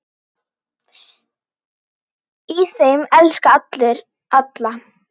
Í þeim elska allir alla.